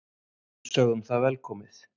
Við sögðum það velkomið.